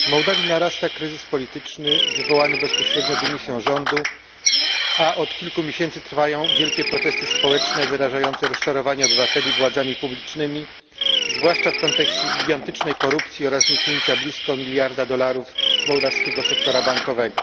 Panie Przewodniczący! W Mołdawii narasta kryzys polityczny wywołany bezpośrednio dymisją rządu, a od kilku miesięcy trwają wielkie protesty społeczne wyrażające rozczarowanie obywateli władzami publicznymi, zwłaszcza w kontekście gigantycznej korupcji oraz zniknięcia blisko miliarda dolarów z mołdawskiego sektora bankowego.